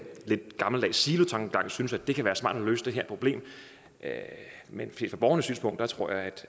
silotankegang synes at det kan være smart at løse det her problem men set fra borgernes synspunkt tror jeg